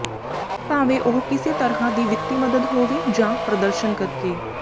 ਭਾਵੇਂ ਉਹ ਕਿਸੇ ਤਰ੍ਹਾਂ ਦੀ ਵਿੱਤੀ ਮਦਦ ਹੋਵੇ ਜਾਂ ਪ੍ਰਦਰਸ਼ਨ ਕਰਕੇ